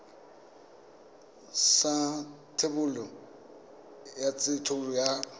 sa thebolo ya thekontle ya